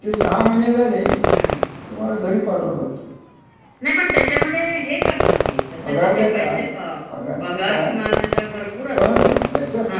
- की, पण बोटीवर असतात त्यामुळे ते हे वाटत तस, असुरक्षितच वाटत ते हे करण. असुरक्षित म्हणजे ते वेगळ्या दृष्टीने असुरक्षित. हं. म्हणजे त्याला काय आता